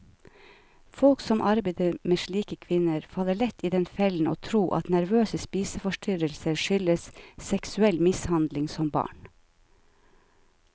Folk som arbeider med slike kvinner, faller lett i den fellen å tro at nervøse spiseforstyrrelser skyldes seksuell mishandling som barn.